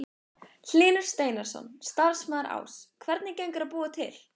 Hlynur Steinarsson, starfsmaður Áss: Hvernig gengur að búa til?